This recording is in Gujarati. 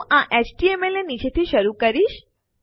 હું આ એચટીએમએલ ની નીચેથી શરૂ કરીશ